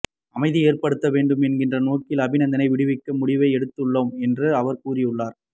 அமைதி ஏற்படுத்த வேண்டும் என்கிற நோக்கில் அபிநந்தனை விடுவிக்கும் முடிவை எடுத்துள்ளோம் என அவர் கூறியுள்ளார்